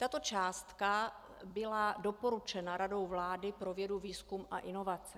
Tato částka byla doporučena Radou vlády pro vědu, výzkum a inovace.